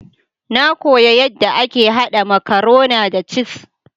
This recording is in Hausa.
Na kuya yadda ake haɗa makarona da cis.